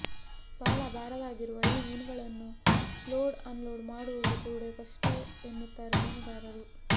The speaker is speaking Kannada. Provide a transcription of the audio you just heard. ಬಹಳ ಭಾರವಾಗಿರುವ ಈ ಮೀನುಗಳನ್ನು ಲೋಡ್ ಅನ್ಲೋಡ್ ಮಾಡುವುದು ಕೂಡ ಕಷ್ಟ ಎನ್ನುತ್ತಾರೆ ಮೀನುಗಾರರು